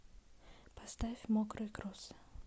поставь мокрые кроссы